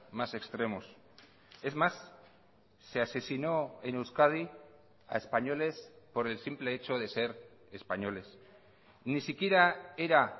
más extremos es más se asesinó en euskadi a españoles por el simple hecho de ser españoles ni siquiera era